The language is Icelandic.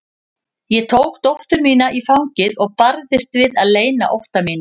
Ég tók dóttur mína í fangið og barðist við að leyna ótta mínum.